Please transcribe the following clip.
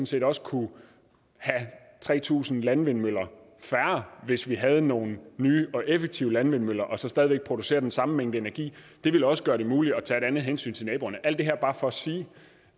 set også kunne have tre tusind landvindmøller færre hvis vi havde nogle nye og effektive landvindmøller og så stadig væk producere den samme mængde energi det ville også gøre det muligt at tage et andet hensyn til naboerne alt det her er bare for at sige